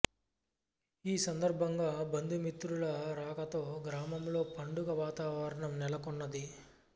ఈ సందర్భంగా బంంధుమిత్రుల రాకతో గ్రామంలో పండుగ వాతావరణం నెలకొన్నది